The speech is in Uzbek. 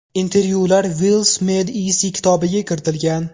Intervyular Wealth Made Easy kitobiga kiritilgan.